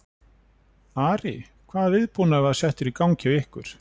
Ari, hvaða viðbúnaður var settur í gang hjá ykkur?